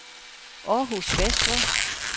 Århus Vestre